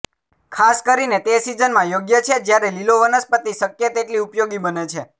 ખાસ કરીને તે સિઝનમાં યોગ્ય છે જ્યારે લીલો વનસ્પતિ શક્ય તેટલી ઉપયોગી બને છે